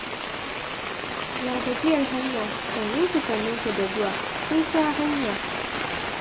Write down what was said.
Ya gajiyar hanya? Sannunku sannunku da zuwa, kun sha hanya.